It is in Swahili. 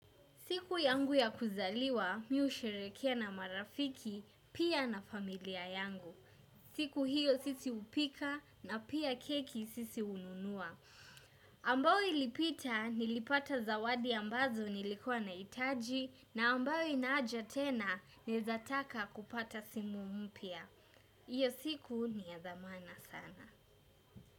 Siku yangu ya kuzaliwa mi husherehekea na marafiki pia na familia yangu. Siku hiyo sisi hupika na pia keki sisi hununua. Ambao ilipita nilipata zawadi ambazo nilikuwa nahitaji na ambayo ina haja tena naezataka kupata simu mpya. Hiyo siku ni ya dhamana sana.